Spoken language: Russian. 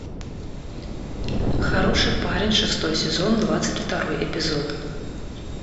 хороший парень шестой сезон двадцать второй эпизод